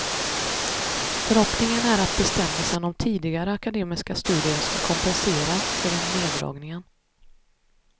Förhoppningen är att bestämmelsen om tidigare akademiska studier ska kompensera för den neddragningen.